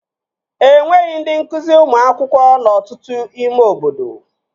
Enweghị ndị nkụzi ụmụ akwụkwọ n'ọtụtụ ime obodo